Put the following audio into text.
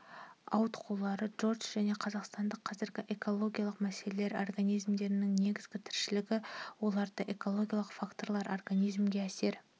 ауытқулары дж және қазақстандағы қазіргі экологиялық мәселелер организмдердің негізгі тіршілігі орталары экологиялық факторлар организмге әсер